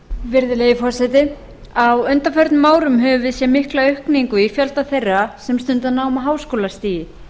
virðulegi forseti á undanförnum árum höfum við séð mikla aukningu í fjölda þeirra sem stunda nám á háskólastigi